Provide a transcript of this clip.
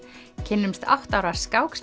kynnumst átta ára